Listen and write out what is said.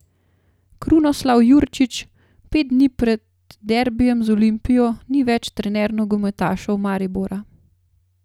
Krunoslav Jurčić pet dni pred derbijem z Olimpijo ni več trener nogometašev Maribora.